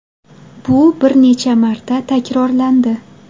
Bu bir necha marta takrorlandi.